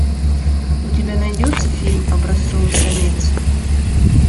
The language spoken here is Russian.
у тебя найдется фильм образцовый самец